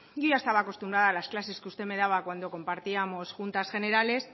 yo ya estaba acostumbrada a las clases que usted me daba cuando compartíamos juntas generales